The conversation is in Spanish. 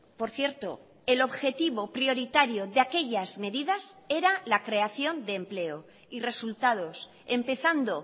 por cierto el objetivo prioritario de aquellas medidas era la creación de empleo y resultados empezando